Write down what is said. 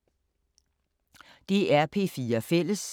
DR P4 Fælles